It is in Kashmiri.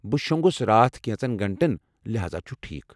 بہٕ شوٚنٛگَس راتھ کینٛژن گھنٹَن، لحاذا چھُ ٹھیٖکھ ۔